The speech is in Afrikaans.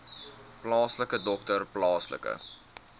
plaaslike dokter plaaslike